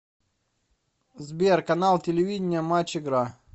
сбер канал телевидения матч игра